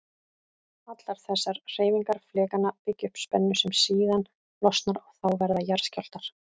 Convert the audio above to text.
Allar þessar hreyfingar flekanna byggja upp spennu sem síðan losnar og þá verða jarðskjálftar.